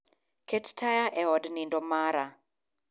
Ket taya e od nindo mara